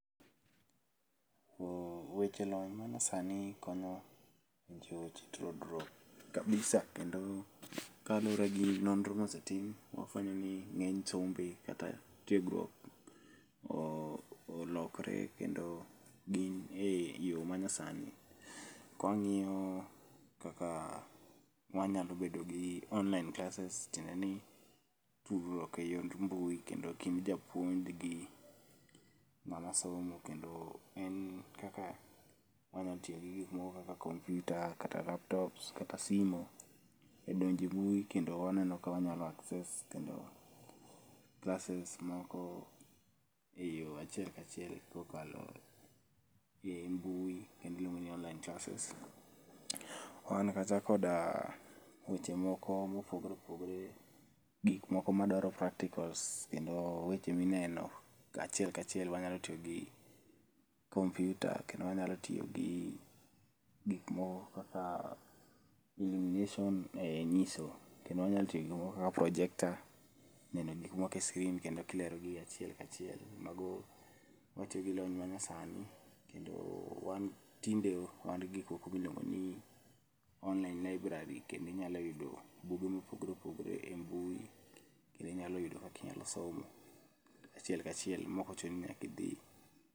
Ooh weche lony manyasani konyo ji weche to grow kabisa. Kendo kaluore gi noro mosetim, wafwenyo ni ng'eny sombe kata tiegruok oo olokre kendo gin e yoo manyasani. kawang'iyo kaka wanyalo bedo gi online classes tiende ni tudruok eyor mbui kend gi japuonjgi ma nyasomo kendo en kaka wanya tiyo gi gik moko kaka computer, kata laptops, kata simu edonje embui kendo waneno ka wanyalo access kendo classes moko eyoo achiel ka achiel ka okalo embui kendo iluongoni online classes. Wan kacha koda weche moko mopogore opogore gik moko madwaro practicals kendo weche mineno kachiel kachiel. Wanyalo tiyo gi computer kendo wanyalo tiyogi gik moko kaka lumination e nyiso kendo wanyalo tiyo gi gik moko kaka projector neno gik moko e screen kendo ki lerogi achiel ka achiel mago watiyogi lony manayasani kendo tinde wangi gik moko miluongo ni online library kendo inyalo yudo buge mopogore opogore embui kendo inyalo yudo kaka inyalo somo achiel ka achiel maok ochuno ni nyaka idhii.